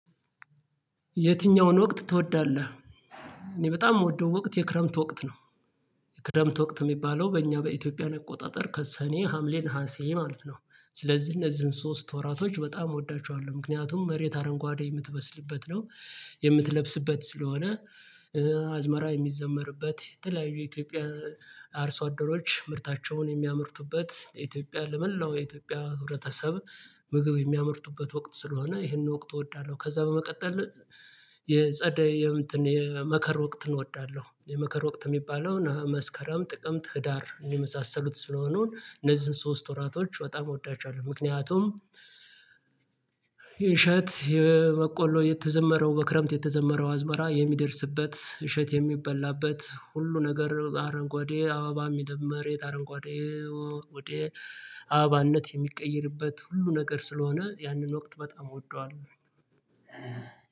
የትኛውን ወቅት ትወዳለህ? እኔ በጣም የምወደው ወቅት የክረምት ወቅት ነው የክረምት ወቅት የሚባለው በእኛ በኢትዮጵያ አቆጣጠር ከሰኔ ሀምሌን ሀነሴ ማለት ነው ስለዚህ እነዚህን ሶስት ወራቶች በጣም እወዳቸዋለሁ ምክንያቱም መሬት አረንጓዴ የምትበስልበት ነው የምትለብስበት ስለሆነ አዝመራ የሚዘመርበት ተለያዩ የኢትዮጵያ አርሶ አደሮች ምርታቸውን የሚያምርቱበት የኢትዮጵያ ለመላው የኢትዮጵያ ህብረተሰብ ምግብ የሚያመርቱበት ወቅት ስለሆነ ይሄንን ወቅት እወዳለሁ ከዛ በመቀጠል የጸደይ የመከር ወቅትን እወዳለሁ የመከር ወቅት የሚባለው መስከረም ጥቅምት ህዳር የመሳሰሉት ስለሆኑ እነዚህን ሶስት ወራቶች በጣም እወዳቸዋለሁ ምክንያቱም እሸት የበቆሎ የተዘመረው በክረምት የተዘመረው አዝመራ የሚደርስበት እሸት የሚበላበት ሁሉ ነገር አረንጓዴ አባባ የሚደመር አረንጓዴ ወዴ የሚቀየርበት ሁሉ ነገር ስለሆነ ያንን ወቅት በጣም እወደዋለሁ